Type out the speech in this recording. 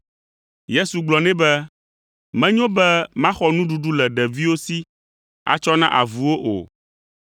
Yesu gblɔ nɛ be, “Menyo be maxɔ nuɖuɖu le ɖeviwo si atsɔ na avuwo o.”